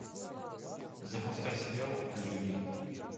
запускай сериал люди